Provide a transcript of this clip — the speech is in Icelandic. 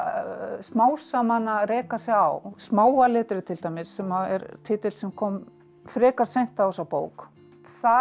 smám saman að reka sig á smáa letrið til dæmis sem er titill sem kom frekar seint á þessa bók það